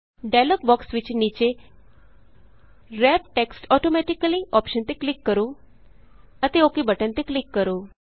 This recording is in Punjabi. ਡਾਇਲੋਗ ਬੋਕਸ ਵਿਚ ਨੀਚੇ ਵਰੈਪ ਟੈਕਸਟ ਆਟੋਮੈਟਿਕਲੀ ਅੋਪਸ਼ਨ ਤੇ ਕਲਿਕ ਕਰੋ ਅਤੇ ਓਕ ਬਟਨ ਤੇ ਕਲਿਕ ਕਰੋ